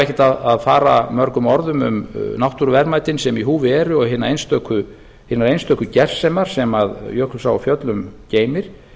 ekkert að fara mörgum orðum um náttúruverðmætin sem í húfi eru og hinar einstöku gersemar sem jökulsá á fjöllum geymir